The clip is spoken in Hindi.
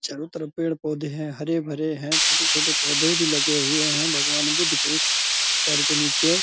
चारों तरफ पेड़-पौधे है हरे-भरे है छोटे-छोटे पौधे भी लगे हुए है भगवान बुद्ध के पैर के नीचे।